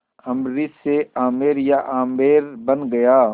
अम्बरीश से आमेर या आम्बेर बन गया